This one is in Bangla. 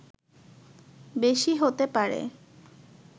বেশি হতে পারে